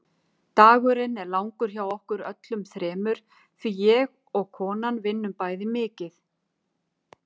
Dagurinn er langur hjá okkur öllum þremur því ég og konan vinnum bæði mikið.